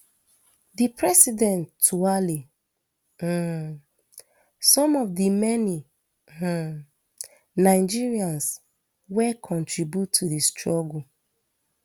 di president tuale um some of di many um nigerians wey contribute to di struggle